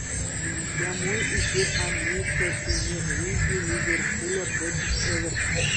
прямой эфир английской премьер лиги ливерпуля против эвертона